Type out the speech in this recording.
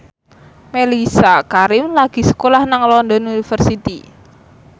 Mellisa Karim lagi sekolah nang London University